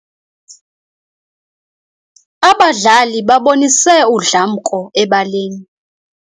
Abadlali babonise udlamko ebaleni.